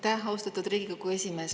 Aitäh, austatud Riigikogu esimees!